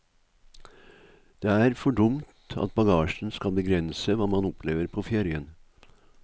Det er for dumt at bagasjen skal begrense hva man opplever på ferien.